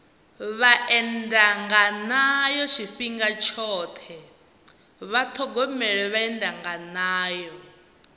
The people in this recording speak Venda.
vhaendanganayo tshifhinga tshoṱhe vha ṱhogomele vhaendanganayo